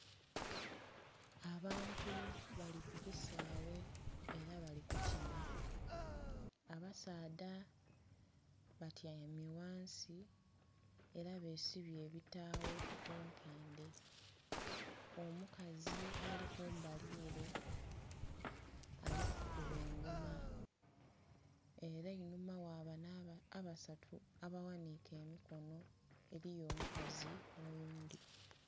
Abantu bali ku kisaawe ela bali kukina. Abasaadha batyaime ghansi ela besibye ebitaawo mu nkendhe. Omukazi ali kumbali ele ali kukuba engoma. Ela einhuma gha bano abasatu abaghaniike emikono eliyo omukazi oghundhi.